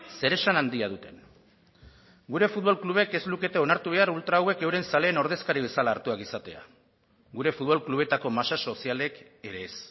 zeresan handia duten gure futbol klubek ez lukete onartu behar ultra hauek euren zaleen ordezkari bezala hartuak izatea gure futbol klubetako masa sozialek ere ez